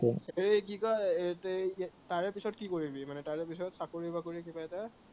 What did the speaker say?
এৰ কি কয় এৰ তই তাৰে পিছত কি কৰিবি মানে তাৰে পিছত চাকৰি বাকৰি কিবা এটা